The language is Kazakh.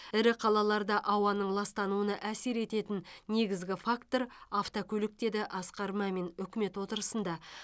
ірі қалаларда ауаның ластануына әсер ететін негізгі фактор автокөлік деді асқар мамин үкімет отырысында